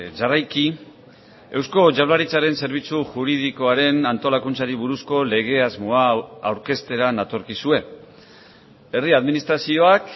jarraiki eusko jaurlaritzaren zerbitzu juridikoaren antolakuntzari buruzko lege asmo hau aurkeztera natorkizue herri administrazioak